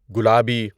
گلابی